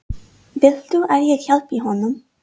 Viltu að ég hjálpi honum?